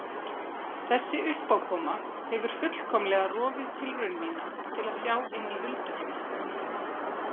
Þessi uppákoma hefur fullkomlega rofið tilraun mína til að sjá inn í hulduheima.